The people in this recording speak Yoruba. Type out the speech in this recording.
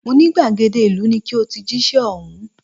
Mo ní gbàgede ìlú ni ki o ti jíṣẹ́ ọ̀hún